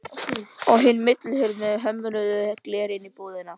Á hina millihurð með hömruðu gleri inn í íbúðina.